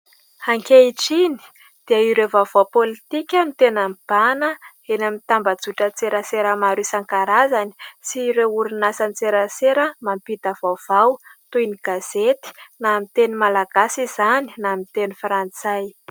Ankehitriny dia ireo vaovao politika no tena mibahana eny amin'ny tambazotran-tserasera maro isan-karazany sy ireo orinasan-tserasera mampita vaovao toy ny gazety na amin'ny teny malagasy izany na amin'ny teny frantsay.